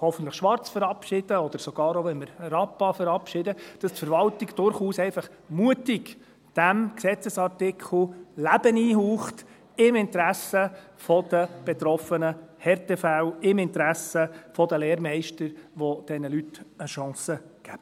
hoffentlich «Schwarz» verabschieden, oder sogar auch, wenn wir «Rappa» verabschieden, dass die Verwaltung durchaus einfach mutig diesem Gesetzesartikel Leben einhaucht, im Interesse der betroffenen Härtefälle, im Interesse der Lehrmeister, die diesen Leuten eine Chance geben.